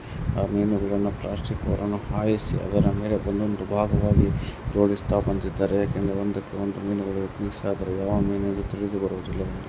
ಆ ಮೀನುಗಳನ್ನು ಇಲ್ಲಿ ಹಲವಾರು ವಿವಿಧ ರೀತಿಯ ಮೀನುಗಳ ಜೋಡಿಸ್ತಾ ಬಂದಿದ್ದಾರೆ ಅಲ್ಲೊಬ್ಬ ವ್ಯಕ್ತಿಯನ್ನು ನೋಡುತ್ತಾ ಕೊಡುತ್ತಿದ್ದಾನೆ ಇನ್ನೊಬ್ಬ ವ್ಯಕ್ತಿ ಕೈಯಲ್ಲಿ ಮೀನನ್ನು ಎತ್ತಿ ನೋಡುತ್ತಿದ್ದಾನೆ.